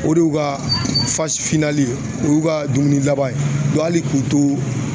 O de y'u ka o y'u ka dumuni laban ye hali k'u to